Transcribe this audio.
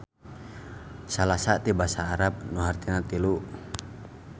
Salasa ti basa Arab nu hartina tilu.